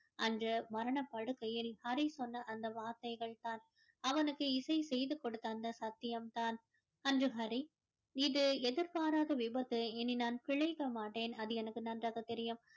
அன்று மரணப் படுக்கையில் ஹரி சொன்ன அந்த வார்த்தைகள் தான் அவனுக்கு இசை செய்து கொடுத்த அந்த சத்தியம் தான் அன்று ஹரி இது எதிர்பாராத விபத்து இனி நான் பிழைக்க மாட்டேன் அது எனக்கு நன்றாக தெரியும்